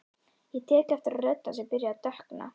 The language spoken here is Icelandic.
Ég tek eftir að rödd hans er byrjuð að dökkna.